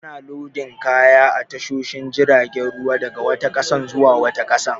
Ana lodin kaya a tashoshin jiragen ruwa daga wata ƙasa zuwa wata ƙasar.